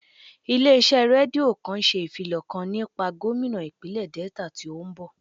Ilé iṣẹ́ rédíò kan ṣe ìfilọ̀ kan nípa gómínà ìpínlè Delta tí ó ń bọ̀